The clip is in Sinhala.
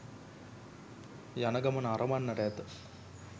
යන ගමන අරඹන්නට ඇත